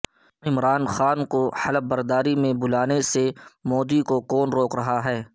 عمران خان کو حلف برداری میں بلانے سے مودی کو کون روک رہا ہے